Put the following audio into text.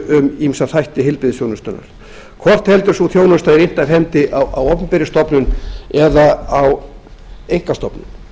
um ýmsa þætti heilbrigðisþjónustunnar hvort heldur sú þjónusta er innt af hendi á opinberri stofnun eða á einkastofnun